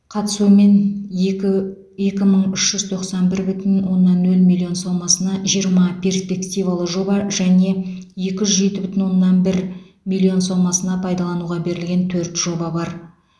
қатысуымен екі екі мың үш жүз тоқсан бір бүтін оннан нөл миллион сомасына жиырма перспективалы жоба және екі жүз жеті бүтін оннан бір миллион сомасына пайдалануға берілген төрт жоба бар